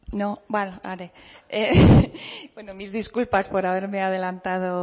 no bueno mis disculpas por haberme adelantado